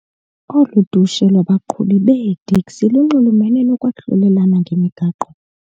Olu dushe lwabaqhubi beeteksi lunxulumene nokwahlulelana ngemigaqo.